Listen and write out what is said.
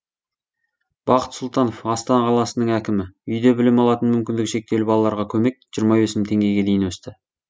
бақыт сұлтанов астана қаласының әкімі үйде білім алатын мүмкіндігі шектеулі балаларға көмек жиырма бес мың теңгеге дейін өсті